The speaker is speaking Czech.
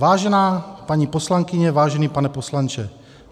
Vážená paní poslankyně, vážený pane poslanče,